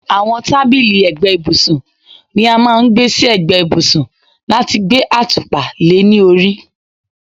àwọn tábìlì ẹ̀gbẹ́ ibùsùn ni a máà ń gbé sí ẹ̀gbẹ́ ibùsùn láti gbé àtùpà le ní orí